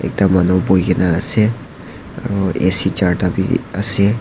ekta manu boikae na ase aro A_C charta biase.